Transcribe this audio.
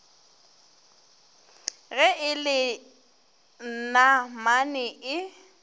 ge e le namane e